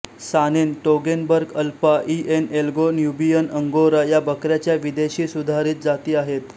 सानेन Toggenburg Alpine Anglo Nubian Angora या बकऱ्यांच्या विदेशी सुधारीत जाती आहेत